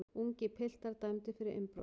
Ungir piltar dæmdir fyrir innbrot